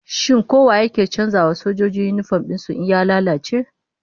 Shin ko wa yake canza wa sojoji yinifom din su in ya lalace?